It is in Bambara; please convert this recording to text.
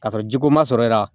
Ka sɔrɔ jiko ma sɔrɔ e la